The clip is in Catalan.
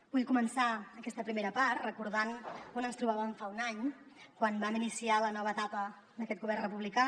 vull començar aquesta primera part recordant on ens trobàvem fa un any quan vam iniciar la nova etapa d’aquest govern republicà